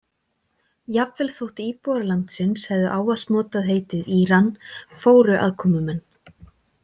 Jafnvel þótt íbúar landsins hefðu ávallt notað heitið Íran fóru aðkomumenn.